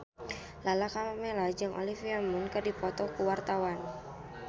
Lala Karmela jeung Olivia Munn keur dipoto ku wartawan